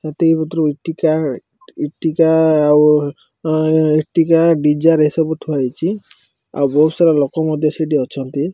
ଏତିକି ଭିତୁରୁ ଇଟିକା ଇଟିକା ଆଉ ଅଁ ଇଟିକା ଡିଜାର୍ ଏସବୁ ଥୁଆ ହେଇଚି। ଆଉ ବୋହୁତ୍ ସାରା ଲୋକ ମଧ୍ୟ ସେଇଠି ଅଛନ୍ତି।